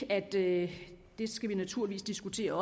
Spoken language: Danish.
at det det skal vi naturligvis diskutere